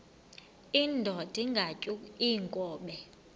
indod ingaty iinkobe